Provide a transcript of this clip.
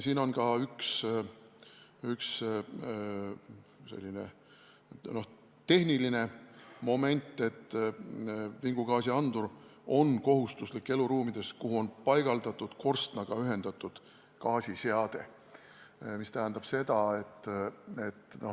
Siin on ka üks selline tehniline moment, et vingugaasiandur on kohustuslik eluruumides, kus on korstnaga ühendatud gaasiseade.